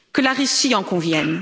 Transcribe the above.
Que la Russie en convienne.